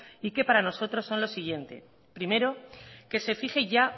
y que para nosotros son los siguientes primero que se fije ya